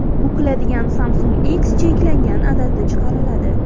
Bukiladigan Samsung X cheklangan adadda chiqariladi.